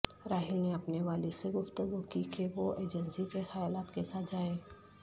راہیل نے اپنے والد سے گفتگو کی کہ وہ ایجنسی کے خیالات کے ساتھ جائیں